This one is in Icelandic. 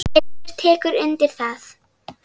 Hildur tekur undir það.